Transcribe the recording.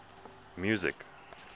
music